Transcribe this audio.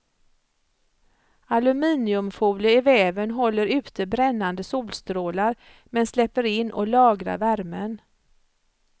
Aluminiumfolie i väven håller ute brännande solstrålar, men släpper in och lagrar värmen.